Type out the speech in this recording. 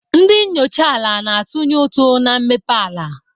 Ndị enyocha ala na-atụnye ụtụ na mmepe ala.